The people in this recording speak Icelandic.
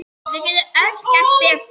Við getum öll gert betur.